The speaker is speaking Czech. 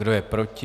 Kdo je proti?